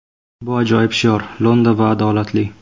Bu ajoyib shior, lo‘nda va adolatli.